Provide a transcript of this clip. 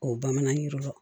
O bamanan yiriwa